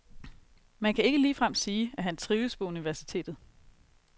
Man kan ikke ligefrem sige, at han trives på universitetet.